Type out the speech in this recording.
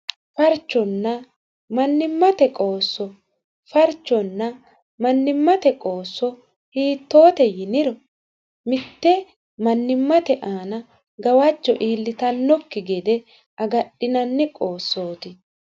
Farchonna mannimate qoosso. Farchonna mannimate qoosso hiittote yiniro; mitte mannimate aana gawajjo iillitanokki gede agadhinanni qoossoti.